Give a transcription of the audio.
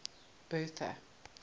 bertha